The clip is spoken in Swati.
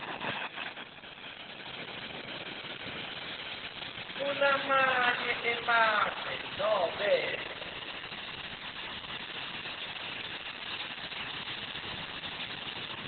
kulamanye emave nobe